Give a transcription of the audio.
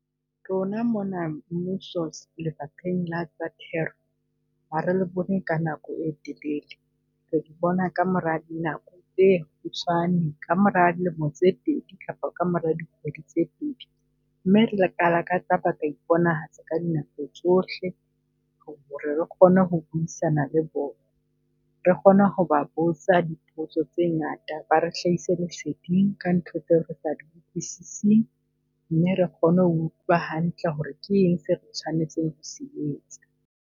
Rona mona mmuso lefapheng la tsa thero, ha re bone ka nako e telele. Re le bona ka mora nako tse kgutshwane ka mora dilemo tse pedi kapa ka mora dikgwedi tse pedi. Mme re tsa iponahatsa ka dinako tsohle ho re re kgone ho buisana le bona. Re kgone ho ba botsa dipotso tse ngata, ba re hlahisa leseding ka ntho tseo re sa utlwisise, mme re kgone ho utlwa hantle ho re ke eng se re tshwanetseng ho se etsa?